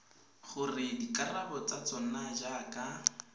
gore dikarabo tsa tsona jaaka